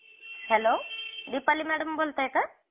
hallo Deepali madam बोलताय का?